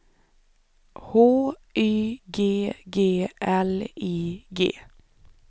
H Y G G L I G